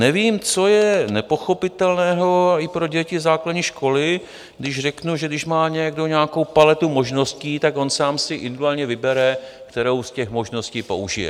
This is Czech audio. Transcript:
Nevím, co je nepochopitelného i pro děti základní školy, když řeknu, že když má někdo nějakou paletu možností, tak on sám si individuálně vybere, kterou z těch možností použije.